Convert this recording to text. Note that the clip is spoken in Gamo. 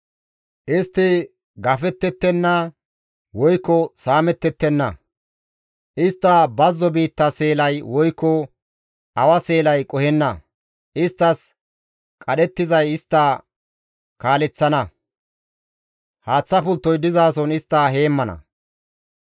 Istti gafettettenna woykko saamettettenna; istta bazzo biitta seelay woykko awa seelay qohenna. Isttas qadhettizay istta kaaleththana; haaththa pulttoy dizason istta heemmana.